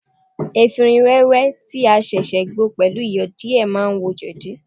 Efinrin wẹ́wẹ́ tí a ṣẹ̀ṣẹ̀ gbo pẹ̀lú Iyọ̀ díè ma ń wo jẹ̀dí.